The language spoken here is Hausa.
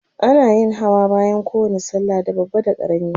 ana yin Hawa bayan kowani sallah da babba da karami